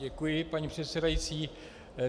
Děkuji, paní předsedající.